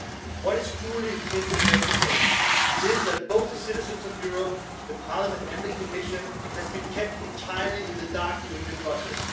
What is truly indefensible is that the citizens of Europe, the Parliament and the Commission have been kept entirely in the dark during the process.